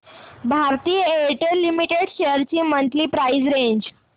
Bharti Airtel Limited shares ची monthly price range